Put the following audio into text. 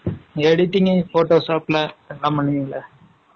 Editing photoshop ல, எல்லாம் பண்ணுவீங்களே?